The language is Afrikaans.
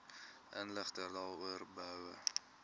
inligting daaroor behoue